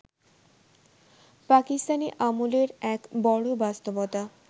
পাকিস্তানি আমলের এক বড় বাস্তবতা